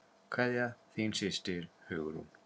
Kveðja, þín systir, Hugrún.